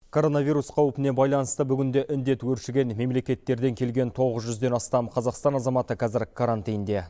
коронавирус қаупіне байланысты бүгінде індет өршіген мемлекеттерден келген тоғыз жүзден астам қазақстан азаматы казір карантинде